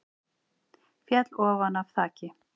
Féll ofan af þaki